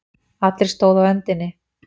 Allir stóðu á öndinni.